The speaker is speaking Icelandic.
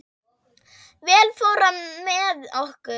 Vel fór á með okkur.